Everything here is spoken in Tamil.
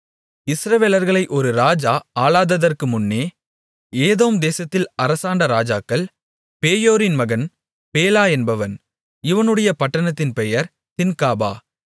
இஸ்ரவேலர்களை ஒரு இராஜா ஆளாததற்குமுன்னே ஏதோம் தேசத்தில் அரசாண்ட இராஜாக்கள் பேயோரின் மகன் பேலா என்பவன் இவனுடைய பட்டணத்தின் பெயர் தின்காபா